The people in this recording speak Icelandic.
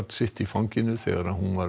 sitt í fanginu þegar hún var